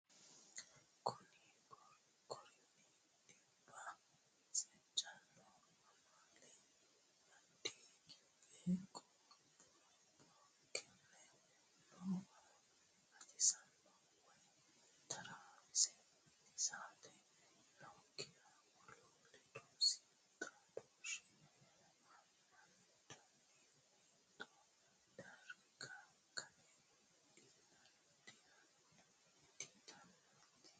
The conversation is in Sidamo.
Konni korinni dhibba seejjonna amaale adha gibbe qoropho konne noowa gatisate woy taraawosi ittisate nookkiha wolu ledo siimu xaadooshshe amandoonni hexxo darga gana didandiitino.